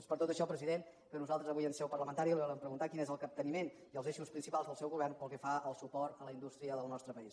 és per tot això president que nosaltres avui en seu parlamentària li volem preguntar quins són el capteniment i els eixos principals del seu govern pel que fa al suport a la indústria del nostre país